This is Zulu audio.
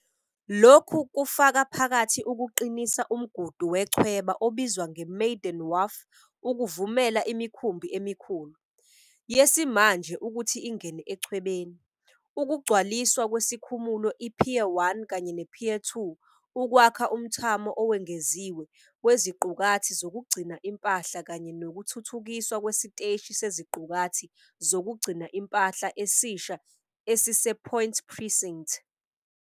Lokhu kufaka phakathi ukuqinisa umgudu wechweba obizwa ngeMaydon Wharf ukuvumela imikhumbi emikhulu, yesimanje ukuthi ingene echwebeni, ukugcwaliswa kwesikhumulo i-Pier 1 kanye ne-Pier 2 ukwakha umthamo owengeziwe weziqukathi zokugcina impahla kanye nokuthuthukiswa kwesiteshi seziqukathi zokugcina impahla esisha esisePoint Precinct.